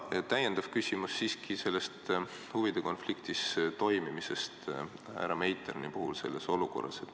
Ja täiendav küsimus tuleb siiski huvide konfliktis toimimise kohta härra Meiterni puhul selles olukorras.